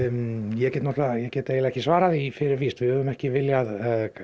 ég get ég get eiginlega ekki svarað því fyrir víst við höfum ekki viljað